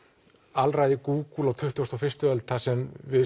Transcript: alræði Google á tuttugustu og fyrstu öld þar sem við